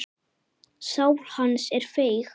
Sál hans er feig.